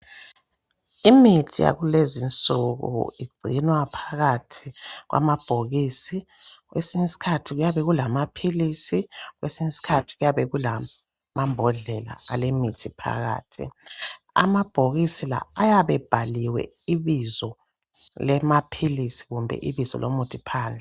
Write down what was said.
Imithi yakulezi nsuku igcinwa phakathi kwamabhokisi kwesinye isikhathi kuyabe kulamaphilisi kwesinye isikhathi kuyabe kulamambodlela alemithi phakathi amabhokisi la ayabe bhaliwe ibizo lamaphilisi kumbe ibizo lomuthi phandle.